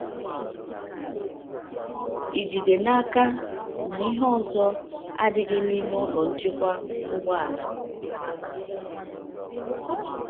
“Ị̀ jide n'aka na ihe ọzọ adịghị n'ime ụlọ nchekwa ụgbọala?”